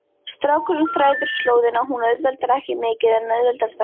Strákurinn þræðir slóðina, hún auðveldar ekki mikið en auðveldar þó.